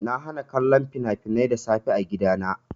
Na hana kallon fina-finai da safe a gidana.